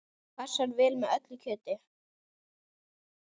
Passar vel með öllu kjöti.